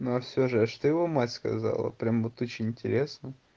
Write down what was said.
но а все же это ж ты его мать сказала прямо вот очень интересно